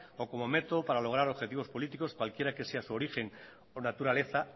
o como método para lograr objetivos políticos cualquiera que sea su origen o naturaleza